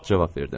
Cavab verdim.